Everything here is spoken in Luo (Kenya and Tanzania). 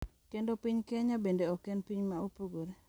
Kendo piny Kenya bende ok en piny ma opogore.